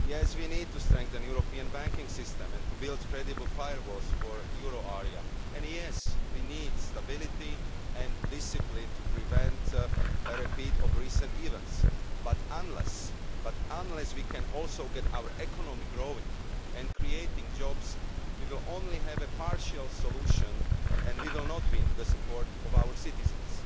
We need to strengthen the European banking system and to build credible firewalls for the euro area, and we need stability and discipline to prevent a repeat of recent events, but unless we can also get our economy growing and creating jobs we will only have a partial solution and we will not win the support of our citizens.